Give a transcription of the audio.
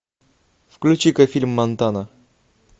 включи ка фильм монтана